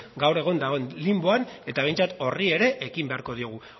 gaur egun dagoen linboan eta behintzat horri ere ekin beharko diogu